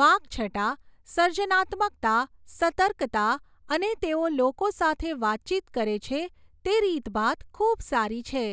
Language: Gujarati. વાકછટા, સર્જનાત્મકતા, સતર્કતા, અને તેઓ લોકો સાથે વાતચીત કરે છે તે રીતભાત ખૂબ સારી છે.